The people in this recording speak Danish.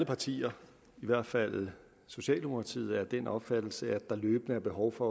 partier i hvert fald socialdemokratiet er af den opfattelse at der løbende er behov for